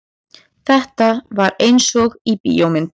Þetta var einsog í bíómynd.